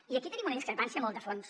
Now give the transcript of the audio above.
i aquí tenim una discrepància molt de fons